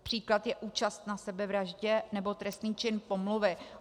Příklad je účast na sebevraždě nebo trestný čin pomluvy.